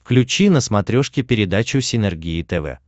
включи на смотрешке передачу синергия тв